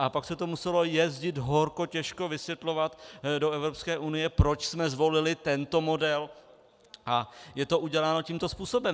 A pak se to muselo jezdit horko těžko vysvětlovat do EU, proč jsme zvolili tento model a je to uděláno tímto způsobem.